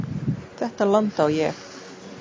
Þetta land á ég.